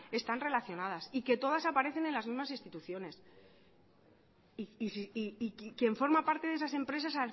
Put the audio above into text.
están relacionadas y que todas aparecen en las mismas instituciones y quien forma parte de esas empresas